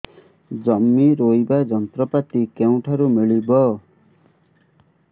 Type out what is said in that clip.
ଜମି ରୋଇବା ଯନ୍ତ୍ରପାତି କେଉଁଠାରୁ ମିଳିବ